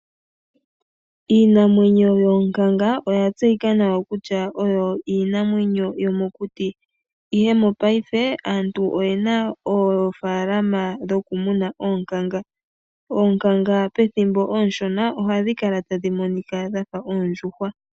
Iinamwenyo yoonkanga oya tseyika nawa kutya oyo iinamwenyo yomokuti, ihe mopaife aantu oyena oofaalama dhokumuna oonkanga. Oonkanga pethimbo oonshona ohadhi kala tadhi monika dha fa oondjuhwa.